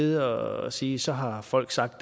og sige at så har folk sagt